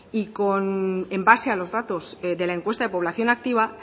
y en base a los datos de la encuesta de población activa